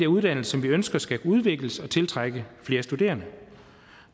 uddannelser som vi ønsker skal udvikle sig og tiltrække flere studerende